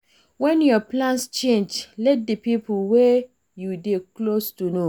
When your plans change, let di pipo wey you dey close to know